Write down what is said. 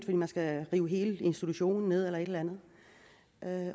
man skal rive hele institutionen ned eller et eller andet